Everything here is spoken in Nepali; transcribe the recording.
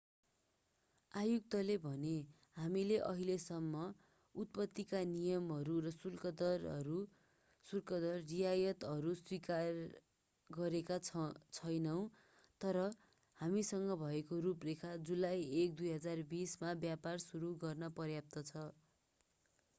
आयुक्तले भने हामीले अहिलेसम्म उत्पत्तिका नियमहरू र शुल्कदर रियायतहरू स्वीकार गरेका छैनौँ तर हामीसँग भएको रूपरेखा जुलाई 1 2020 मा व्यापार सुरु गर्न पर्याप्त छ